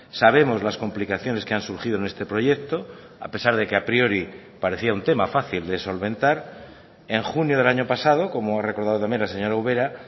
sabemos las complicaciones que han surgido en este proyecto a pesar de que a priori parecía un tema fácil de solventar en junio del año pasado como ha recordado también la señora ubera